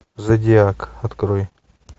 зодиак открой